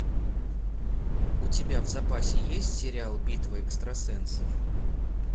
у тебя в запасе есть сериал битва экстрасенсов